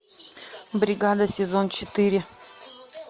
бригада сезон четыре